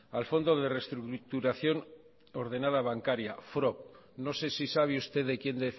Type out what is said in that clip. al fondo de reestructuración ordenada bancaria frob no sé si sabe usted de quien